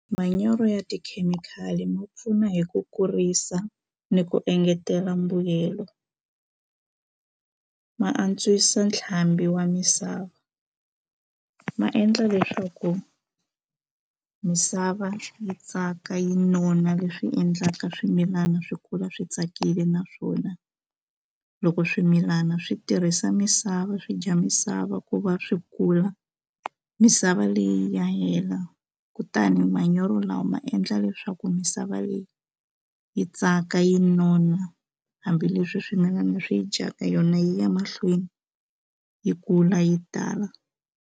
Manyoro ya tikhemikhali ma pfuna hi ku kurisa ni ku engetela mbuyelo ma antswisa ntlhambi wa misava ma endla leswaku misava yi tsaka yi nona leswi endlaka swimilana swi kula swi tsakile naswona loko swimilana swi tirhisa misava swi dya misava ku va swi kula misava leyi ya hela kutani manyoro lawa ma endla leswaku misava leyi yi tsaka yi nona hambileswi swimilana swi yi dyaka yona yi ya mahlweni yi kula yi tala.